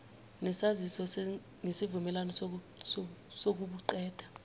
nesaziso ngesivumelwano sokubuqeda